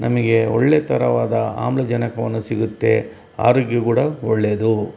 ನಮಗೆ ಒಳ್ಳೆ ತರವಾದ ಅಹುದೆಗಲ್ ಸಿಗುತ್ತೆ ಆರೋಗ್ಯಕ್ಕೆ ಕೂಡ ಒಳ್ಳೇದು.